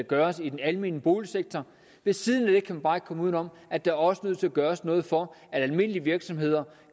gøres i den almene boligsektor ved siden af det kan man bare ikke komme uden om at der også er nødt til at gøres noget for at almindelige virksomheder